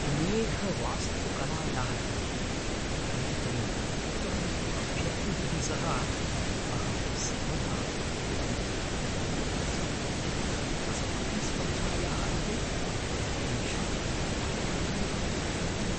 मेघवास्तुकलायाः कृते एतैः उत्तमैः अभ्यर्थिभिः सह अहं सर्वदा उद्विग्नः एव अस्मि। अस्माकं स्पर्धायाः अन्ते तेषां अपहरणं भवितुमर्हति।